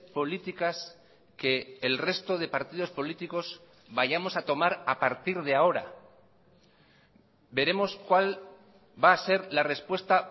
políticas que el resto de partidos políticos vayamos a tomar a partir de ahora veremos cuál va a ser la respuesta